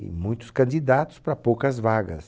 E muitos candidatos para poucas vagas.